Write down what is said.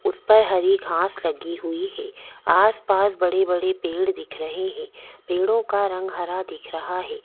उस पर हरी घास लगी हुई है आसपास बड़े-बड़े पेड़ दिख रहे हैं पेड़ों का रंग हरा दिख रहा है।